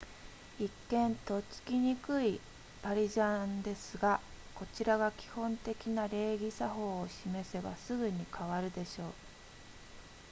一見とっつきにくいパリジャンですがこちらが基本的な礼儀作法を示せばすぐに変わるでしょう